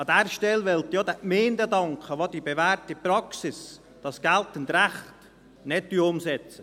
An dieser Stelle möchte ich auch den Gemeinden danken, die die bewährte Praxis, das geltende Recht, nicht umsetzen.